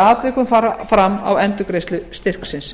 atvikum fara fram á endurgreiðslu styrksins